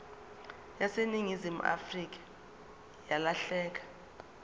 yaseningizimu afrika yalahleka